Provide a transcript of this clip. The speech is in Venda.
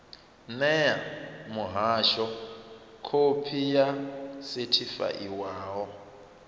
ṋee muhasho khophi yo sethifaiwaho